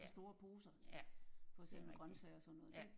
Ja ja det er rigtig ja